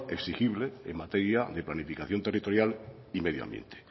exigible en materia de planificación territorial y medio ambiente